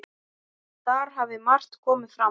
Þar hafi margt komið fram.